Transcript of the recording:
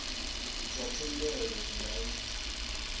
zwa thendelo zwi nga ita